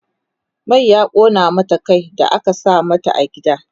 man ya ƙona mata Kai da aka sa mata a gida